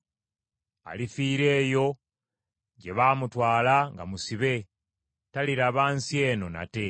Alifiira eyo gye baamutwala nga musibe, taliraba nsi eno nate.”